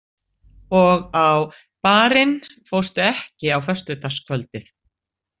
Og á Bar- inn fórstu ekki á föstudagskvöldið?